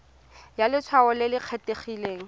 ya letshwao le le kgethegileng